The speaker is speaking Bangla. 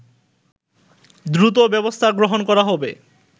দ্রুত ব্যবস্থা গ্রহণ করা হবে